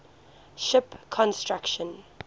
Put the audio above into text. ship construction